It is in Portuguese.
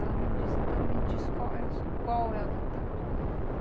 Ela me disse, então me diz qual é a vantagem.